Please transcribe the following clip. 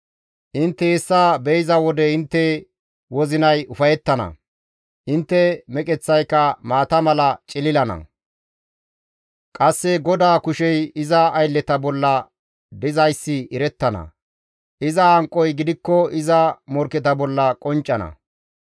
Intte hessa be7iza wode intte wozinay ufayettana; intte meqeththaykka maata mala cililana; qasse GODAA kushey iza aylleta bolla dizayssi erettana; iza hanqoy gidikko iza morkketa bolla qonccana.